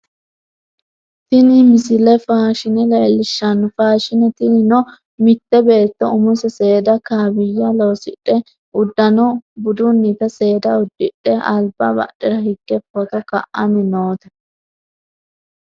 tini misile faashine leellishshanno faashine tinino mitte beetto umose seeda kaawiyya loosidhe uddano budunnita seeda uddidhe alba badhera higge footo ka'anni noote